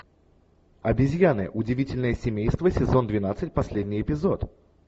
обезьяны удивительные семейства сезон двенадцать последний эпизод